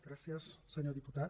gràcies senyor diputat